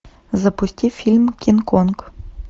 запусти фильм кинг конг